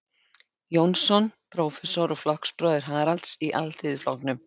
Jónsson, prófessor og flokksbróðir Haralds í Alþýðuflokknum.